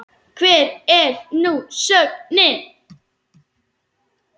Hver er nú sögnin?